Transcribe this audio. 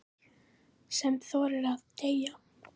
Sem þorði að deyja!